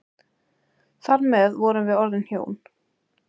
Þar með vorum við orðin hjón.